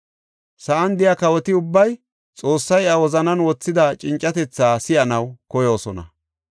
Sa7an de7iya kawoti ubbay Xoossay iya wozanan wothida cincatethaa si7anaw koyoosona.